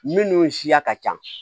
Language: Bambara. Minnu siya ka ca